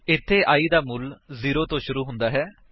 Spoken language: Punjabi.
ਇੱਥੇ i ਦਾ ਮੁੱਲ 0 ਤੋ ਸ਼ੁਰੂ ਹੁੰਦਾ ਹੈ